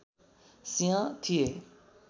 सिंह थिए